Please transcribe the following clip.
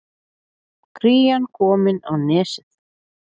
Krían komin á Nesið